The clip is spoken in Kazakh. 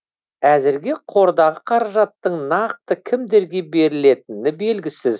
әзірге қордағы қаражаттың нақты кімдерге берілетіні белгісіз